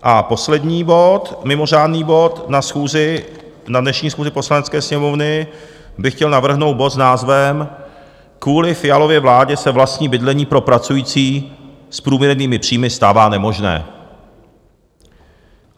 A poslední bod, mimořádný bod, na dnešní schůzi Poslanecké sněmovny bych chtěl navrhnout bod s názvem Kvůli Fialově vládě se vlastní bydlení pro pracující s průměrnými příjmy stává nemožné.